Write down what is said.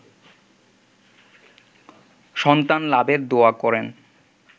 সন্তান লাভের দোয়া করেন